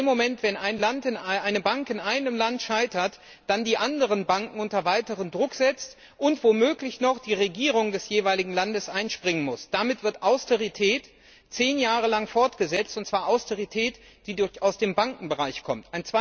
In dem Moment, in dem eine Bank in einem Land scheitert, werden die anderen Banken unter weiteren Druck gesetzt, und womöglich muss dann noch die Regierung des jeweiligen Landes einspringen. Damit wird Austerität zehn Jahre lang fortgesetzt und zwar Austerität, die aus dem Bankenbereich kommt.